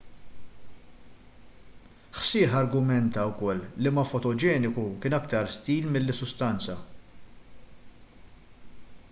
hsieh argumenta wkoll li ma fotogeniku kien aktar stil milli sustanza